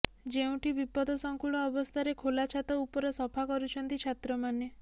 ଯେଉଁଠି ବିପଦସଙ୍କୁଳ ଅବସ୍ଥାରେ ଖୋଲା ଛାତ ଉପର ସଫା କରୁଛନ୍ତି ଛାତ୍ରମାନେ